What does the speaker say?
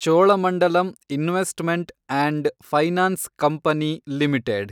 Cholamandalam investment and finance company limited